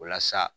Walasa